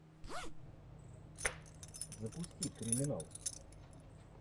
запусти криминал